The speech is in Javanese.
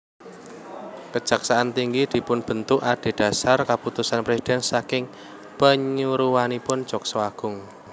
Kejaksaan tinggi dipunbentuk adhedhasar keputusan presiden saking panyaruwenipun Jaksa Agung